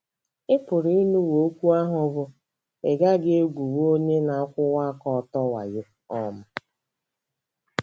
Ị PỤRỤ ịnụwo okwu ahụ bụ́, “ Ị gaghị egwuli onye na - akwụwa aka ọtọ wayo. ” um